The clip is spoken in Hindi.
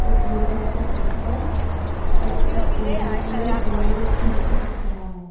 एक ब्लू कलर का पोस्टर और उस बिल्डिंग में दो खिड़की दिख रहा है।